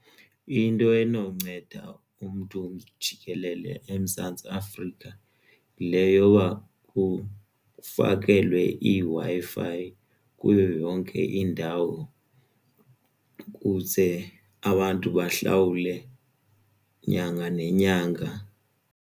Into enonceda umntu jikelele eMzantsi Afrika yile yoba kufakelwe iWi-Fi kuyo yonke indawo ukuze abantu bahlawule nyanga nenyanga.